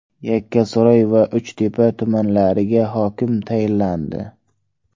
Yakkasaroy va Uchtepa tumanlariga hokim tayinlandi.